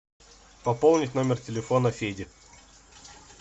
пополнить номер телефона феди